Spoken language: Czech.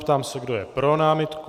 Ptám se, kdo je pro námitku.